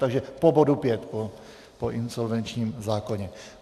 Takže po bodu 5, po insolvenčním zákoně.